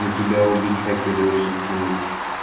но тебя убить хотели очень сильно